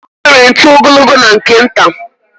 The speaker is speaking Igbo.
Enwere ntu ogologo na nke nta.